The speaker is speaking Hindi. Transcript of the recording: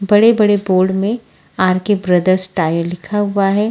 बड़े बड़े बोर्ड में आर _के बोर्थेर्स टाइल लिखा हुआ है।